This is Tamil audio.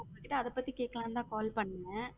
இல்ல அதை பத்தி கேக்கலாம்னு தன் call பண்ணேன்.